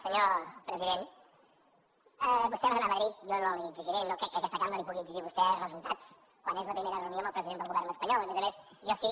senyor president vostè va anar a madrid jo no li exigiré no crec que aquesta cambra li pugui exigir a vostè resultats quan és la primera reunió amb el president del govern espanyol a més a més jo sí